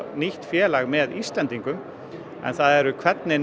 nýtt félag með Íslendingum en hvernig